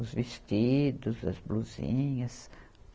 Os vestidos, as blusinhas.